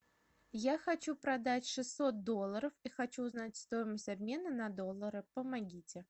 я хочу продать шестьсот долларов и хочу узнать стоимость обмена на доллары помогите